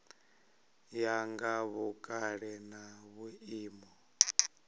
ya nga vhukale na vhuimo